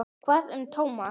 Hvað um Thomas?